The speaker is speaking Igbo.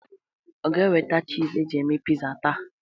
Ọ ga-eweta chiz e ji eme piza taa?